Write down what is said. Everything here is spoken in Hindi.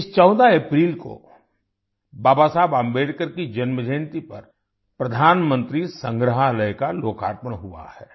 इस 14 अप्रैल को बाबा साहेब अम्बेडकर की जन्म जयन्ती पर प्रधानमंत्री संग्रहालय का लोकार्पण हुआ है